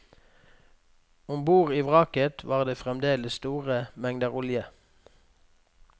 Ombord i vraket var det fremdeles store mengder olje.